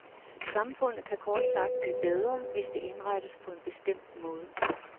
Samfundet kan kort sagt blive bedre, hvis det indrettes på en bestemt måde.